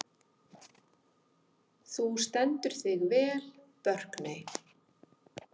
Þú stendur þig vel, Burkney!